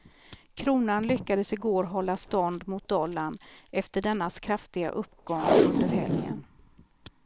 Kronan lyckades igår hålla stånd mot dollarn efter dennas kraftiga uppgång under helgen.